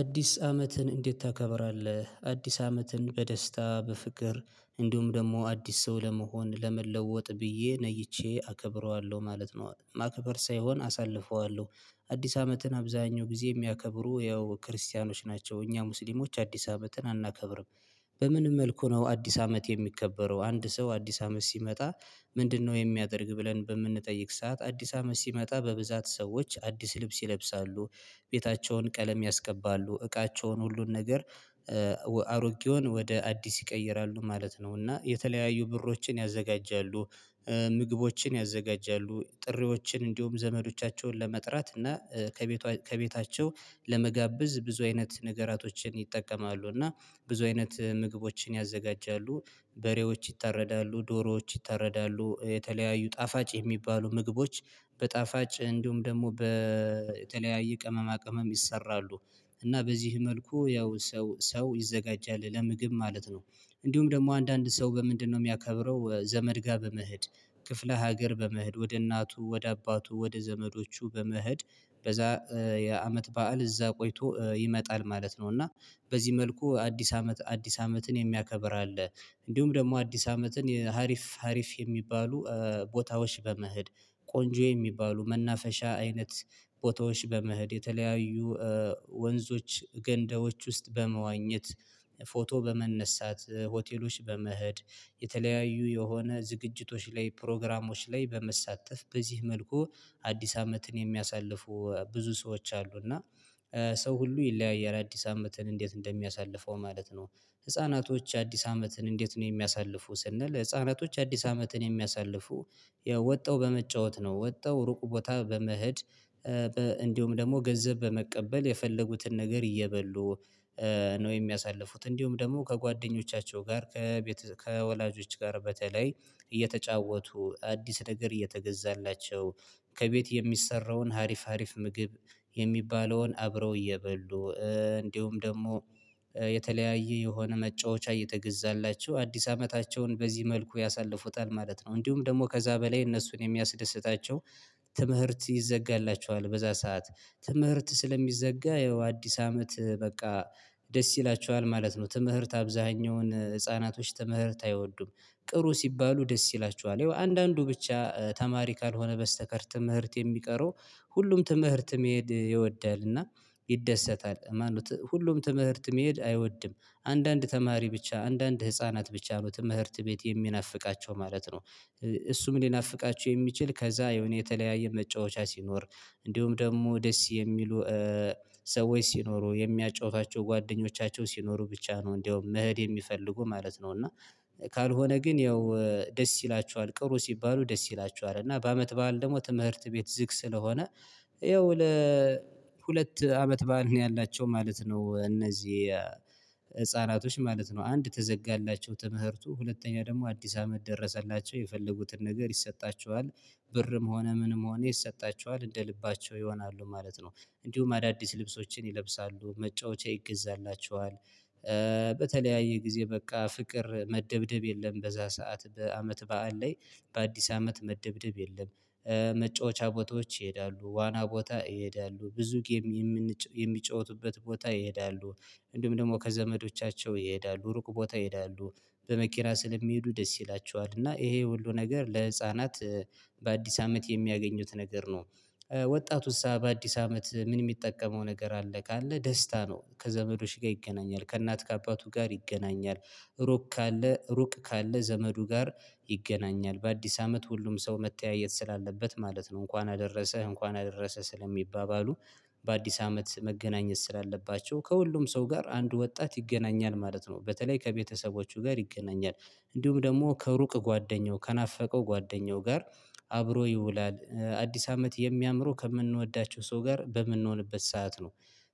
አዲስ አመትን እንዴት ታከብራለህ? አዲስ አመትን በደስታ በፍቅር እንዲሁም ደግሞ አዲስ ሰው ለመሆን ለመለወጥ ብዬ ነይቼ አከብረዋለሁ ማለት ነው ማከበር ሳይሆን አሳልፈዋለሁ። አዲስ አመትን አብዛኛው ጊዜ የሚያከብሩ ያው ክርስቲያኖች ናቸው እኛ ሙስሊሞች አዲስ አመትን አናከብርም። በምንም መልኩ ነው አዲስ አመት የሚከበረው አንድ ሰው አዲስ አመት ሲመጣ። ምንድነው የሚያደርግ ብለን በምንጠይቅ ሰዓት አዲስ አመት ሲመጣ በብዛት ሰዎች አዲስ ልብስ ይለብሳሉ። ቤታቸውን ቀለም ያስቀባሉ እቃቸውን ሁሉን ነገር። አሮጌውን ወደ አዲስ ይቀይራሉ ማለት ነው እና የተለያዩ ብሮችን ያዘጋጃሉ። ምግቦችን ያዘጋጃሉ ጥሪዎችን እንዲሁም ዘመዶቻቸውን ለመጥራት እና ከቤቷ ከቤታቸው ለመጋብዝ ብዙ አይነት ነገራቶችን ይጠቀማሉ እና ብዙ አይነት ምግቦችን ያዘጋጃሉ። በሬዎች ይታረዳሉ ዶሮዎች ይታረዳሉ የተለያዩ ጣፋጭ የሚባሉ ምግቦች በጣፋጭ እንዲሁም ደግሞ በተለያዩ ቅመማ ቅመም ይሰራሉ። እና በዚህ መልኩ ያው ሰው ሰው ይዘጋጃል ለምግብ ማለት ነው። እንዲሁም ደግሞ አንዳንድ ሰው በምንድነው የሚያከብረው ዘመድ ጋር በመሄድ። ክፍለ ሀገር በመሄድ ወደ እናቱ ወደ አባቱ ወደ ዘመዶቹ በመሄድ በዛ የአመት በዓል እዛ ቆይቶ ይመጣል ማለት ነው። እና በዚህ መልኩ አዲስ አመት አዲስ አመትን የሚያከብር አለ። እንዲሁም ደግሞ አዲስ አመትን ሀሪፍ ሀሪፍ የሚባሉ ቦታዎች በመሄድ ቆንጆ የሚባሉ መናፈሻ አይነት ቦታዎች በመሄድ የተለያዩ ወንዞች ገንዳዎች ውስጥ በመዋኘት ፎቶ በመነሳት ሆቴሎች በመሄድ። የተለያዩ የሆነ ዝግጅቶች ላይ ፕሮግራሞች ላይ በመሳተፍ በዚህ መልኩ አዲስ አመትን የሚያሳልፉ ብዙ ሰዎች አሉ። እና ሰው ሁሉ ይለያያል አዲስ አመትን እንዴት እንደሚያሳልፈው ማለት ነው። ህፃናቶች የአዲስ አመትን እንዴት ነው? የሚያሳልፉ ስንል ህፃናቶች የአዲስ አመትን የሚያሳልፉ ወጣው በመጫወት ነው ወጣው ሩቁ ቦታ በመሄድ። እንዲሁም ደግሞ ገንዘብ በመቀበል የፈለጉትን ነገር እየበሉ ነው የሚያሳልፉት። እንዲሁም ደግሞ ከጓደኞቻቸው ጋር ከቤት ከወላጆች ጋር በተለይ እየተጫወቱ አዲስ ነገር እየተገዛላቸው ከቤት የሚሰራውን ሀሪፍ ሀሪፍ ምግብ። የሚባለውን አብረው እየበሉ እንዲሁም ደግሞ የተለያየ የሆነ መጫወቻ እየተገዛላቸው አዲስ አመታቸውን በዚህ መልኩ ያሳልፉታል ማለት ነው። እንዲሁም ደግሞ ከዛ በላይ እነሱን የሚያስደስታቸው ትምህርት ይዘጋላቸዋል። በዛ ሰዓት ትምህርት ስለሚዘጋ ያው አዲስ አመት በቃ ደስ ይላችኋል ማለት ነው። ትምህርት አብዛኛውን ህፃናቶች ትምህርት አይወዱም። ቅሩ ሲባሉ ደስ ይላችኋል አንዳንዱ ብቻ ተማሪ ካልሆነ በስተቀር ትምህርት የሚቀረው ሁሉም ትምህርት መሄድ ይወዳልና ይደሰታል እማኑት ሁሉም ትምህርት መሄድ አይወድም አንዳንድ ተማሪ ብቻ አንዳንድ ህፃናት ብቻ ነው ትምህርት ቤት የሚናፍቃቸው ማለት ነው። እሱም ሊናፍቃቸው የሚችል ከዛ የሆነ የተለያየ መጫወቻ ሲኖር እንዲሁም ደግሞ ደስ የሚሉ ሰዎች ሲኖሩ የሚያጫውቷቸው ጓደኞቻቸው ሲኖሩ ብቻ ነው እንደውም መሄድ የሚፈልጉ ማለት ነው። እና ካልሆነ ግን ያው ደስ ይላችኋል ቅሩ ሲባሉ ደስ ይላችኋል እና በአመት በዓል ደግሞ ትምህርት ቤት ዝግ ስለሆነ ያው ለሁለት አመት በዓል ነው ያላቸው ማለት ነው። እነዚህ ህፃናቶች ማለት ነው አንድ ተዘጋላቸው ትምህርቱ ሁለተኛ ደግሞ አዲስ አመት ደረሰላቸው የፈለጉትን ነገር ይሰጣቸዋል ብርም ሆነ ምንም ሆነ ይሰጣችኋል እንደ ልባቸው ይሆናሉ ማለት ነው። እንዲሁም አዳዲስ ልብሶችን ይለብሳሉ መጫወቻ ይገዛላችኋል። በተለያየ ጊዜ በቃ ፍቅር መደብደብ የለም። በዛ ሰዓት በዓል ላይ በአዲስ አመት መደብደብ የለም። መጫወቻ ቦታዎች ይሄዳሉ ዋና ቦታ ይሄዳሉ ብዙ ጌም የሚጫወቱበት ቦታ ይሄዳሉ። እንዲሁም ደግሞ ከዘመዶቻቸው ይሄዳሉ ሩቅ ቦታ ይሄዳሉ በመኪና ስለሚሄዱ ደስ ይላቸዋል እና ይሄ ሁሉ ነገር ለህፃናት በአዲስ አመት የሚያገኙት ነገር ነው። ወጣቱስ በአዲስ አመት ምን የሚጠቀመው ነገር አለ? ካለ ደስታ ነው ከዘመዶች ጋር ይገናኛል ከእናት ከአባቱ ጋር ይገናኛል ሩቅ ካለ ሩቅ ካለ ዘመዱ ጋር ይገናኛል በአዲስ አመት ሁሉም ሰው መተያየት ስላለበት ማለት ነው እንኳን አደረሰህ እንኳን አደረሰህ ስለሚባባሉ። በአዲስ አመት መገናኘት ስላለባቸው ከሁሉም ሰው ጋር አንድ ወጣት ይገናኛል ማለት ነው። በተለይ ከቤተሰቦቹ ጋር ይገናኛል እንዲሁም ደግሞ ከሩቅ ጓደኛው ከናፈቀው ጓደኛው ጋር አብሮ አዲስ አመት የሚያምረው ከምንወዳቸው ሰው ጋር በምንሆንበት ሰዓት ነው።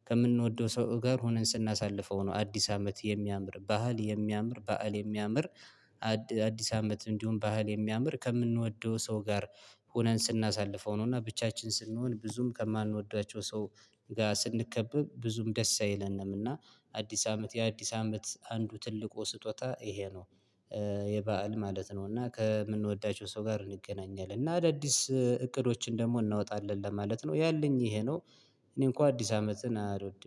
ከምንወደው ሰው ጋር ሆነን ስናሳልፈው ነው። አዲስ አመት የሚያምር ባህል የሚያምር ባህል የሚያምር አዲስ አመት እንዲሁም ባህል የሚያምር ከምንወደው ሰው ጋር ሆነን ስናሳልፈው ነው። እና ብቻችን ስንሆን ብዙም ከማንወዳቸው ሰው ጋር ስንከበብ ብዙም ደስ አይለንም። እና አዲስ አመት የአዲስ አመት አንዱ ትልቁ ስጦታ ይሄ ነው። የበአል ማለት ነው እና ከምንወዳቸው ሰው ጋር እንገናኛለን እና አዳዲስ እቅዶችን ደግሞ እናወጣለን ማለት ነው ያለኝ ይሄ ነው። እኔ እንኳን አዲስ አመትን አልወድም